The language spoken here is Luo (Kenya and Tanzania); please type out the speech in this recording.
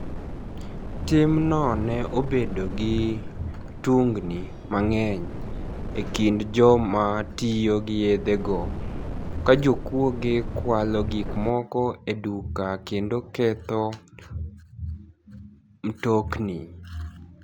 Timno ni e obedo gi tuniginii manig'eniy e kinid joma tiyo gi yedhego, ka jokuoge kwalo gik moko e duka kenido ketho mtoknii.